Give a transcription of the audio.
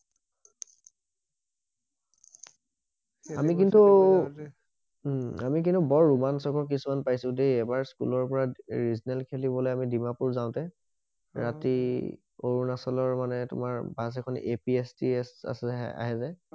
আমি কিন্তু উম আমি কিন্তু বৰ ৰোমাঞ্চকৰ কিছুমান পাইছো দেই এবাৰ স্কুলৰ পৰা খেলিবলৈ ডিমাপুৰ যাওঁতে ৰাতি অৰুণাচলৰ মানে তোমাৰ বাছ এখন APSTS আহে যে অ